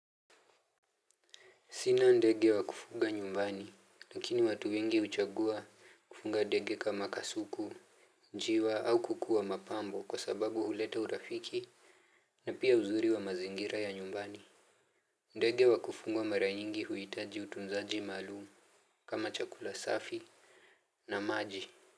Sina ndege wa kufunga nyumbani, lakini watu wengi uchagua kufunga ndege kama kasuku, njiwa au kukua mapambo kwa sababu huleta urafiki na pia uzuri wa mazingira ya nyumbani. Ndege wa kufunga mara nyingi huitaji utunzaji malumu kama chakula safi na maji.